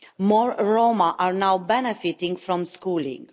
More Roma are now benefiting from schooling.